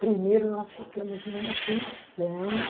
Primeiro, nós ficamos numa pensão.